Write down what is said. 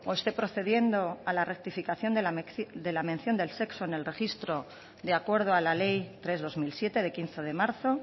esté procediendo a la rectificación de la mención del sexo en el registro de acuerdo a la ley tres barra dos mil siete de quince de marzo